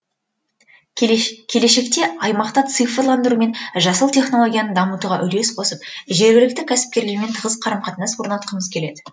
келешекте аймақта цифрландыру мен жасыл технологияны дамытуға үлес қосып жергілікті кәсіпкерлермен тығыз қарым қатынас орнатқымыз келеді